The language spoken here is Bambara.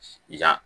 I ja